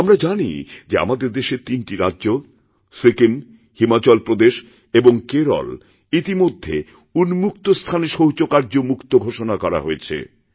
আমরা জানি যেআমাদের দেশের তিনটি রাজ্য সিকিম হিমাচল প্রদেশ এবং কেরল ইতিমধ্যে উন্মুক্তস্থানে শৌচকার্যমুক্ত ঘোষণা করা হয়েছে